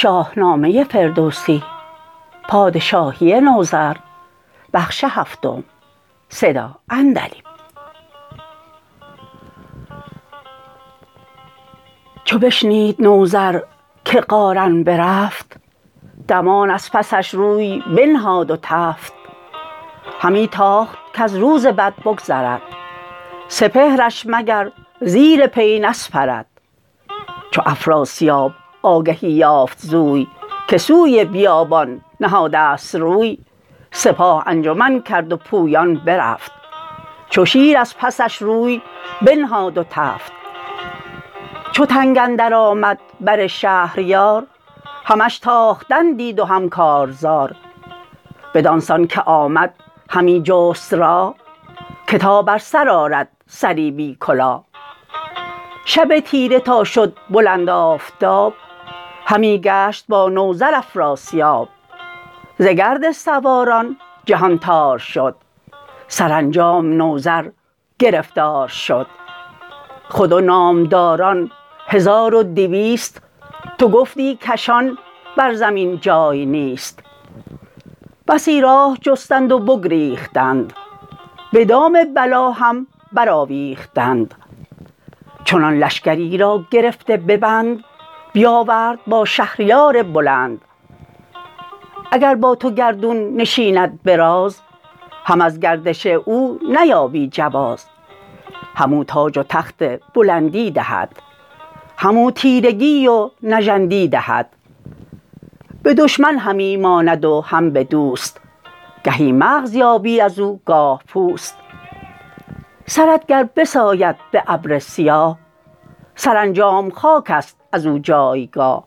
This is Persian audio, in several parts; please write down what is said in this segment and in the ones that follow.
چو بشنید نوذر که قارن برفت دمان از پسش روی بنهاد و تفت همی تاخت کز روز بد بگذرد سپهرش مگر زیر پی نسپرد چو افراسیاب آگهی یافت زوی که سوی بیابان نهادست روی سپاه انجمن کرد و پویان برفت چو شیر از پسش روی بنهاد و تفت چو تنگ اندر آمد بر شهریار همش تاختن دید و هم کارزار بدان سان که آمد همی جست راه که تا بر سر آرد سری بی کلاه شب تیره تا شد بلند آفتاب همی گشت با نوذر افراسیاب ز گرد سواران جهان تار شد سرانجام نوذر گرفتار شد خود و نامداران هزار و دویست تو گفتی کشان بر زمین جای نیست بسی راه جستند و بگریختند به دام بلا هم برآویختند چنان لشکری را گرفته به بند بیاورد با شهریار بلند اگر با تو گردون نشیند به راز هم از گردش او نیابی جواز همو تاج و تخت بلندی دهد همو تیرگی و نژندی دهد به دشمن همی ماند و هم به دوست گهی مغز یابی ازو گاه پوست سرت گر بساید به ابر سیاه سرانجام خاک است ازو جایگاه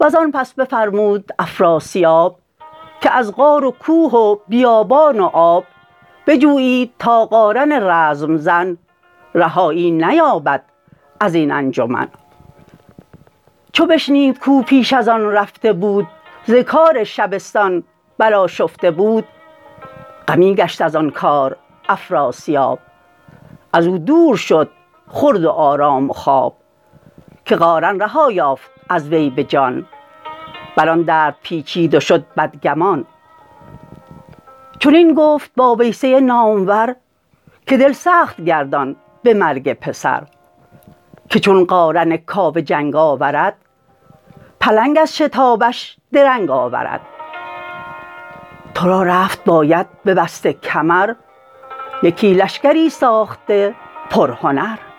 وزان پس بفرمود افراسیاب که از غار و کوه و بیابان و آب بجویید تا قارن رزم زن رهایی نیابد ازین انجمن چو بشنید کاو پیش ازان رفته بود ز کار شبستان برآشفته بود غمی گشت ازان کار افراسیاب ازو دور شد خورد و آرام و خواب که قارن رها یافت از وی به جان بران درد پیچید و شد بدگمان چنین گفت با ویسه نامور که دل سخت گردان به مرگ پسر که چون قارن کاوه جنگ آورد پلنگ از شتابش درنگ آورد ترا رفت باید ببسته کمر یکی لشکری ساخته پرهنر